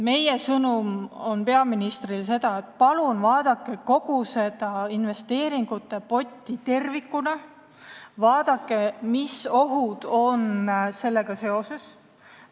Meie sõnum peaministrile on see, et palun vaadake kogu investeeringute potti tervikuna, vaadake, mis ohud sellega seoses on.